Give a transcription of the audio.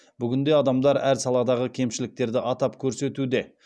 бүгінде адамдар әр саладағы кемшіліктерді атап көрсетуде